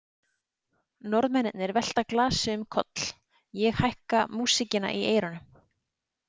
Norðmennirnir velta glasi um koll, ég hækka músíkina í eyrunum.